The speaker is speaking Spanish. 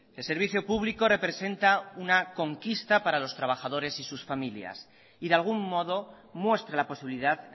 el servicio público representa una conquista para los trabajadores y sus familias y de algún modo muestra la posibilidad